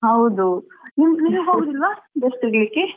ಹೌದು ನೀವ್ ಹೋಗುದಿಲ್ವಾ dress ತೆಗಿಲಿಕ್ಕೆ?